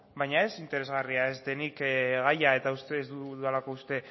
baina ez interesgarria ez denik gaia eta ez dudalako uste